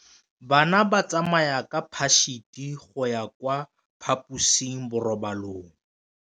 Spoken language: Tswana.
Bana ba tsamaya ka phašitshe go ya kwa phaposiborobalong.